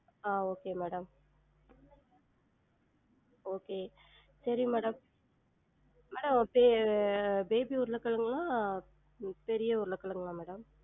ஆஹ் okay madam okay சரி madam madam ba~ baby உருளகெழங்குலா பெரிய உருளகெழங்குலா madam?